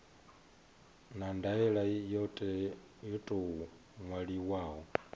na ndaela yo tou ṅwaliwaho